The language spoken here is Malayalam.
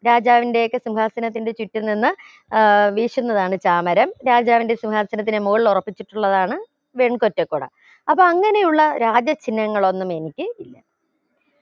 രാജാവിന്റെയോകെ സിംഹാസനത്തിന്റെ ചുറ്റും നിന്ന് ഏർ വീശുന്നതാണ് ചാമരം രാജാവിന്റെ സിംഹാസനത്തിന്റെ മുകളിൽ ഉറപ്പിച്ചിട്ടുള്ളതാണ് വെൺകൊറ്റ കുട അപ്പോ അങ്ങനെ ഉള്ള രാജ ചിന്ഹങ്ങളൊന്നും എനിക്ക് ഇല്ല